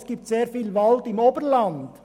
Es gibt sehr viel Wald im Oberland.